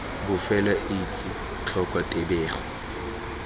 bofelo o etse tlhoko tebego